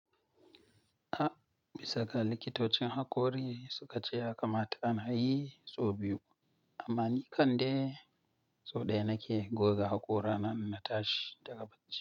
A, bisa ga likitocin hakori suka ce ya kamata ana yi sau biyu amma ni kan de sau ɗaya nake goga haƙora na in na tashi daga bacci.